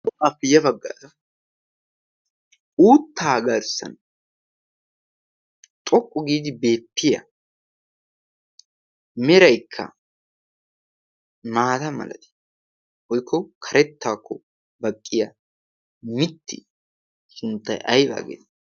ayfiya baggaa uuttaa garssan xoqqu giidi beeppiya meraikka maata maladi boikko karettaakko baqqiya mitti sunttay aybaageetii?